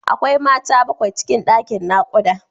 Akwai Mata bakwai cikin ɗakin naƙuda.